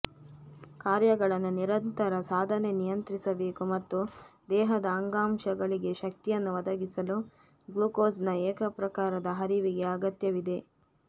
ಕಾರ್ಯಗಳನ್ನು ನಿರಂತರ ಸಾಧನೆ ನಿಯಂತ್ರಿಸಬೇಕು ಮತ್ತು ದೇಹದ ಅಂಗಾಂಶಗಳಿಗೆ ಶಕ್ತಿಯನ್ನು ಒದಗಿಸಲು ಗ್ಲುಕೋಸ್ನ ಏಕಪ್ರಕಾರದ ಹರಿವಿಗೆ ಅಗತ್ಯವಿದೆ